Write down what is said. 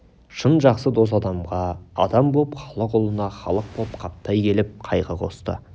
шын жақсы дос адамға адам боп халық ұлына халық боп қаптай келіп қайғы қосты